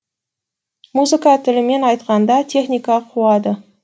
музыка тілімен айтқанда техника қуады